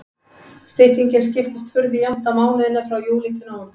Styttingin skiptist furðu jafnt á mánuðina frá júlí til nóvember.